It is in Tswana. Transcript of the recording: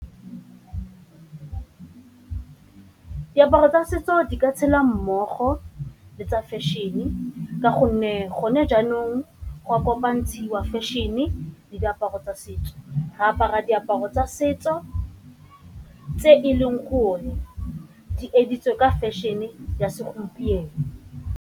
Diaparo tsa setso di ka tshela mmogo le tsa fashion ka gonne gone jaanong go kopanantshiwa fashion-e le diaparo tsa setso, re apara diaparo tsa setso tse e Leng gore di editse ka fashion-e ya segompieno.